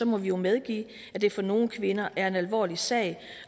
må vi jo medgive at det for nogle kvinder er en alvorlig sag